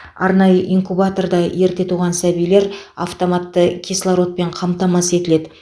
арнайы инкубаторда ерте туған сәбилер автоматты кислородпен қамтамасыз етіледі